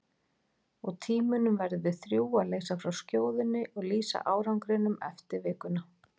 Og í tímunum verðum við þrjú að leysa frá skjóðunni og lýsa árangrinum eftir vikuna.